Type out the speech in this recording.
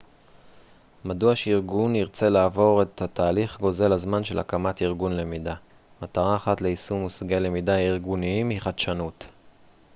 מדוע שארגון ירצה לעבור את התהליך גוזל הזמן של הקמת ארגון למידה מטרה אחת ליישום מושגי למידה ארגוניים היא חדשנות